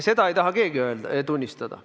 Seda ei taha keegi tunnistada.